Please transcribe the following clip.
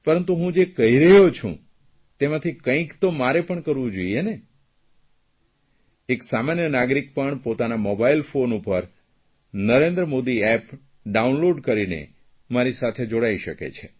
પરંતુ હું જે કરી રહ્યો છું તેમાંથી કંઇક તો મારે પણ કરવું જોઇએ ને એક સામાન્ય નાગરિક પણ પોતાના મોબાઇલ ફોન પર નરેન્દ્ર મોદી એપ ડાઉનલોડ કરીને મારી સાથે જોડાઇ શકે છે